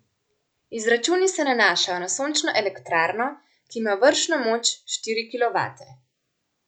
Izračuni se nanašajo na sončno elektrarno, ki ima vršno moč štiri kilovate.